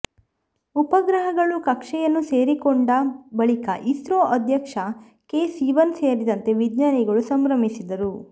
ಉಪಗ್ರಹಗಳು ಕಕ್ಷೆಯನ್ನು ಸೇರಿಕೊಂಡ ಬಳಿಕ ಇಸ್ರೋ ಅಧ್ಯಕ್ಷ ಕೆ ಸಿವನ್ ಸೇರಿದಂತೆ ವಿಜ್ಞಾನಿಗಳು ಸಂಭ್ರಮಿಸಿದರು